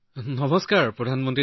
নমস্তে সন্মানীয় প্ৰধানমন্ত্ৰী